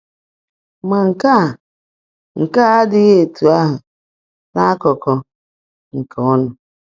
Ma nke a nke a adịghị etu ahụ n’akụkụ nke ụnụ.